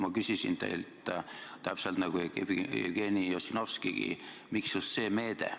Ma küsisin teilt täpselt nagu Jevgeni Ossinovskigi, et miks just see meede.